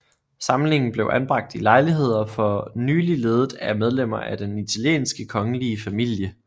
Samlingen blev anbragt i lejligheder for nylig ledet af medlemmer af den italienske kongelige familie